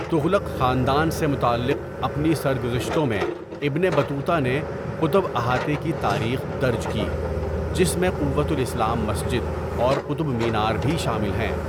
تغلق خاندان سے متعلق اپنی سرگزشتوں میں، ابن بطوطہ نے قطب احاطے کی تاریخ درج کی، جس میں قوۃ الاسلام مسجد اور قطب مینار بھی شامل ہیں۔